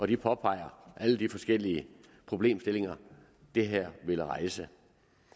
de påpeger alle de forskellige problemstillinger det her vil rejse